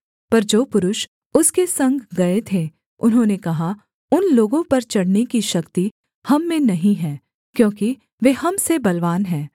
पर जो पुरुष उसके संग गए थे उन्होंने कहा उन लोगों पर चढ़ने की शक्ति हम में नहीं है क्योंकि वे हम से बलवान हैं